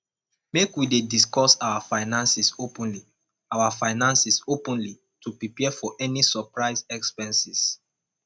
make we dey discuss our finances openly our finances openly to prepare for any surprise expenses